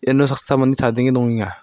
uno saksa mande chadenge dongenga.